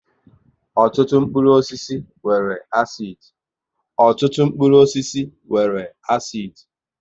Ọtụtụ mkpụrụ osisi nwere àsid